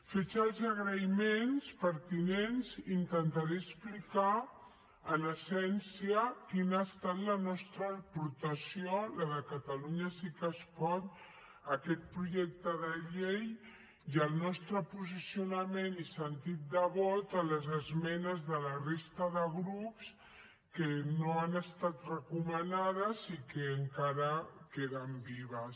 fets els agraïments pertinents intentaré explicar en essència quina ha estat la nostra aportació la de catalunya sí que es pot a aquest projecte de llei i el nostre posicionament i sentit de vot a les esmenes de la resta de grups que no han estat recomanades i que encara queden vives